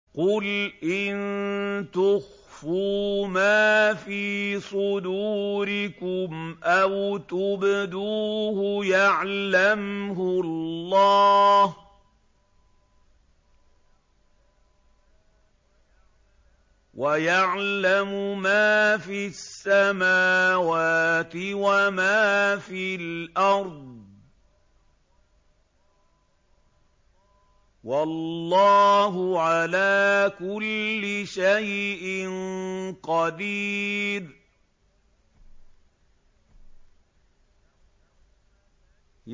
قُلْ إِن تُخْفُوا مَا فِي صُدُورِكُمْ أَوْ تُبْدُوهُ يَعْلَمْهُ اللَّهُ ۗ وَيَعْلَمُ مَا فِي السَّمَاوَاتِ وَمَا فِي الْأَرْضِ ۗ وَاللَّهُ عَلَىٰ كُلِّ شَيْءٍ قَدِيرٌ